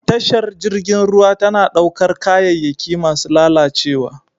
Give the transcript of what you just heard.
Tashar jirgin ruwa tana ɗaukar kayayyaki masu lalacewa.